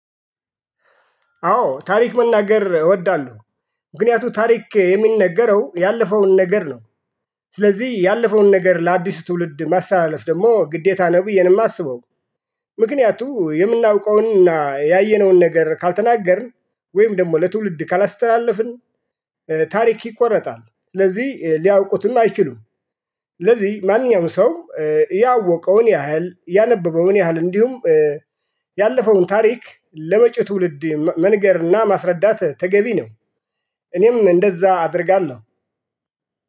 አዎ ታሪክ መናገር እወዳለሁ። ምክንያቱም ታሪክ የሚነገረው ያለፈውን ነገር ነው። ስለዚህ ያለፈውን ነገር ለአዲስ ትውልድ ማስተላለፍ ደግሞ ግዴታ ነው ብዬ ነው የማስበው። ምክንያቱም የምናውቀውንና ያየነውን ነገር ካልተናገርን ወይም ደግሞ ለትውልድ ካላስተላለፍን። ታሪክ ይቆረጣል ስለዚህ ሊያውቁትም አይችሉም። ስለዚህ ማንኛውም ሰው ያወቀውን ያህል ያነበበውን ያህል እንዲሁም ያለፈውን ታሪክ ለመጪው ትውልድ መንገርና ማስረዳት ተገቢ ነው። እኔም እንደዛ አደርጋለሁ